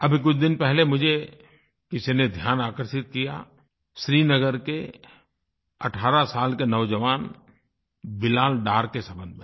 अभी कुछ दिन पहले मुझे किसी ने ध्यान आकर्षित किया श्रीनगर के 18 साल के नौजवान बिलाल डार के संबंध में